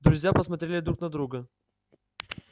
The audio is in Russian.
друзья посмотрели друт на друга